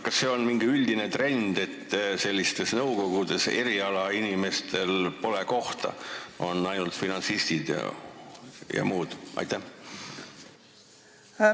Kas see on mingi üldine trend, et sellistes nõukogudes pole erialainimestel kohta, et seal on ainult finantsistid ja muud sellised?